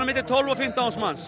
tólf eða fimmtán þúsund manns